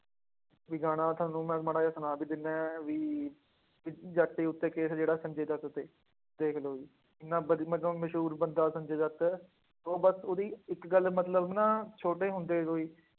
ਵੀ ਗਾਣਾ ਤੁਹਾਨੂੰ ਮੈਂ ਮਾੜਾ ਜਿਹਾ ਸੁਣਾ ਵੀ ਦਿਨਾ ਹਾਂ ਵੀ ਵੀ ਜੱਟ ਉੱਤੇ case ਜਿਹੜਾ ਸੰਜੇ ਦੱਤ ਤੇ, ਦੇਖ ਲਓ ਜੀ ਇੰਨਾ ਵਧੀ ਮੈਂ ਕਵਾਂ ਮਸ਼ਹੂਰ ਬੰਦਾ ਸੰਜੇ ਦੱਤ ਉਹ ਬਸ ਉਹਦੀ ਇੱਕ ਗੱਲ ਮਤਲਬ ਨਾ ਛੋਟੇ ਹੁੰਦੇ ਤੋਂ ਹੀ